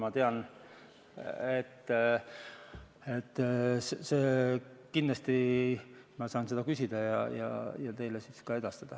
Aga kindlasti ma saan selle järele küsida ja teile siis ka edastada.